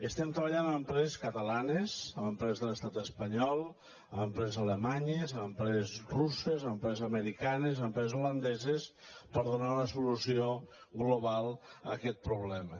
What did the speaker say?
estem treballant amb empreses catalanes amb empreses de l’estat espanyol amb empreses alemanyes amb empreses russes amb empreses americanes amb empreses holandeses per donar una solució global a aquest problema